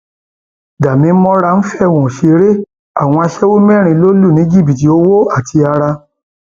damimora ń fọwọn ṣeré àwọn aṣẹwó mẹrin ló lù ní jìbìtì owó àti ara